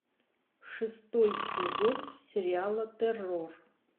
шестой сезон сериала террор